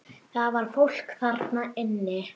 Það var fólk þarna inni!